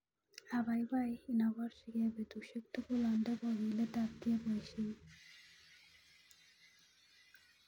Abaibai inoborchike betushek tugul onde kokiletabge boishenyun.